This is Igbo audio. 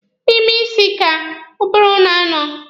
N'ime isi ka ụbụrụ na-anọ.